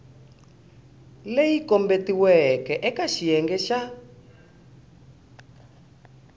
leyi kombetiweke eka xiyenge xa